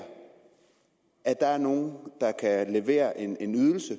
at der er nogen der kan levere en en ydelse